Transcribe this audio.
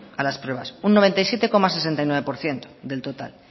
a las pruebas un noventa y siete coma sesenta y nueve por ciento del total